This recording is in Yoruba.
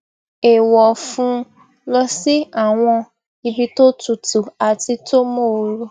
é wọ fún un lọ sí àwọn ibi tó tutu àti tó móoru